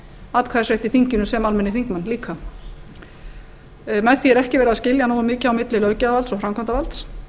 atkvæðisrétt í þinginu sem almennir þingmenn líka með því er ekki verið að skilja nógu mikið á milli löggjafarvalds og framkvæmdarvalds